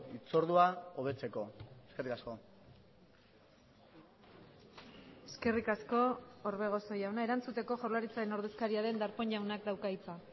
hitzordua hobetzeko eskerrik asko eskerrik asko orbegozo jauna erantzuteko jaurlaritzaren ordezkaria den darpón jaunak dauka hitza